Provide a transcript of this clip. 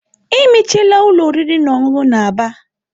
Emechiela ụlọ oriri na ọṅụṅụ na Aba.